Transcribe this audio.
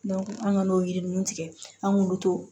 an ŋ'o yiri ninnu tigɛ an k'olu to